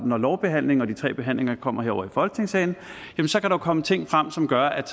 når lovbehandlingen og de tre behandlinger kommer herovre i folketingssalen kan komme ting frem som gør at